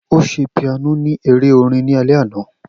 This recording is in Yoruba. O ṣe piano ni ere orin ni alẹ ana